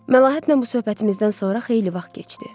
Məlahətlə bu söhbətimizdən sonra xeyli vaxt keçdi.